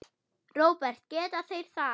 Róbert: Geta þeir það?